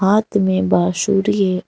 हाथ में बाशुरी है।